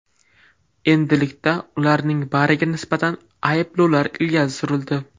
Endilikda ularning bariga nisbatan ayblovlar ilgari surildi.